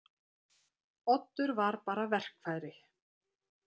Oddur voru bara verkfæri.